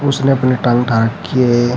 उसने अपनी टांग उठा रखी है।